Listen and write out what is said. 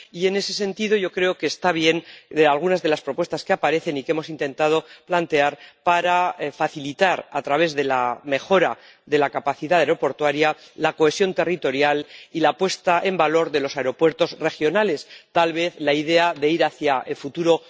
Y, en ese sentido, yo creo que están bien algunas de las propuestas que aparecen y que hemos intentado plantear para facilitar, a través de la mejora de la capacidad aeroportuaria, la cohesión territorial y la puesta en valor de los aeropuertos regionales, tal vez la idea de ir hacia el futuro.